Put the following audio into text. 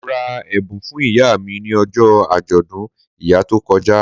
Mo ra ẹ̀bùn fún ìyá mi ni ọjọ́ àjọ̀dún ìyá tó kọjá